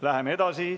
Läheme edasi.